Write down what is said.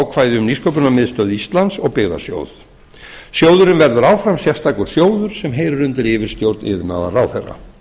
ákvæði um nýsköpunarmiðstöð íslands og byggðasjóð sjóðurinn verður áfram sérstakur sjóður sem heyrir undir yfirstjórn iðnaðarráðherra